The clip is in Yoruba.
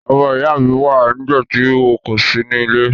Ọmọ ìyá mi wa nígbàtí wo kò si nílé